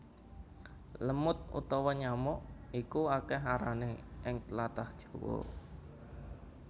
Lemud utawa nyamuk iku akèh arané ing tlatah Jawa